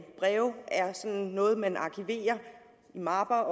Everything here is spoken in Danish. breve er sådan noget man arkiverer i mapper